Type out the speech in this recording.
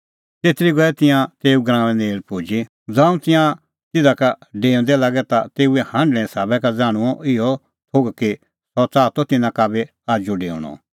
तेतरी गऐ तिंयां तेऊ गराऊंआं नेल़ पुजी ज़ांऊं तिंयां तिधा लै डेऊंदै लागै ता तेऊए हांढणें साबा का ज़ाण्हूंअ इहअ थोघ कि सह च़ाहा त तिन्नां का बी आजू डेऊणअ